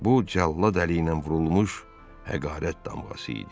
Bu cəllad əli ilə vurulmuş həqarət damğası idi.